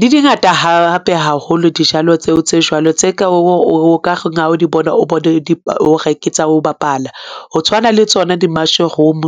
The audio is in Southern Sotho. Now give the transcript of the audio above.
Di dingata hape haholo dijalo tseo tse jwalo, tse ka o ka kgona ho di bona o bone hore ke tsa ho bapala, ho tshwana le tsona di-mushroom,